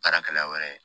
Baarakɛla wɛrɛ